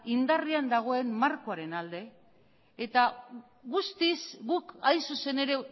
indarrean dagoen markoaren alde eta guztiz guk hain zuzen ere